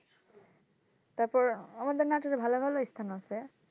তারপর আমাদের ভালো ভালো ইস্থান আছে।